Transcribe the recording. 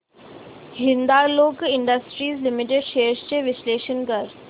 Hindalco industries limited shares चे विश्लेषण कर